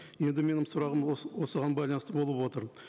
енді менің сұрағым осыған байланысты болып отыр